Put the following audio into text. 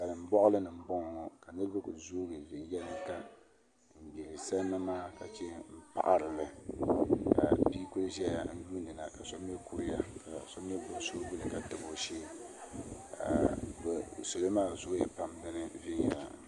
Salin boɣali ni n boŋo ka niraba ku zoogi viɛnyɛlinga n gbiri salima maa ka chɛn paɣarili ka bia ku ʒɛya n yuun diba ka so mii kuriya ka so mii gbubi suu ka tabi o shee salo maa zooya pam